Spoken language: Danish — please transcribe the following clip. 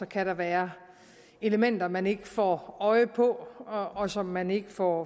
kan der være elementer man ikke får øje på og som man ikke får